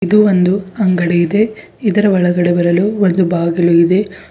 ಇದು ಒಂದು ಅಂಗಡಿ ಇದೆ ಇದರ ಒಳಗಡೆ ಬರಲು ಒಂದು ಬಾಗಿಲು ಇದೆ.